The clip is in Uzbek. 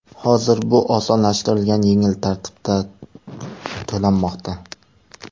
Hozir bu osonlashtirilgan yengil tartibda to‘lanmoqda.